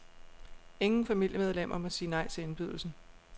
Ingen familiemedlemmer må sige nej til indbydelsen.